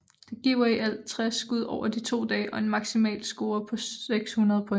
Det giver i alt 60 skud over de to dage og en maksimalscore på 600 point